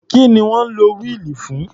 Kí ni wọ́n ń lo wíìlì fún?